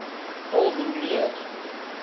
al hoe meer